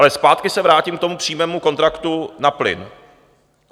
Ale zpátky se vrátím k tomu přímému kontraktu na plyn.